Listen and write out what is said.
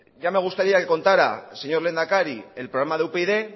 ya me gustaría que contara señor lehendakari el programa de upyd